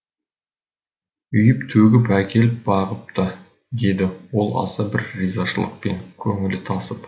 үйіп төгіп әкеліп бағыпты деді ол аса бір ризашылықпен көңілі тасып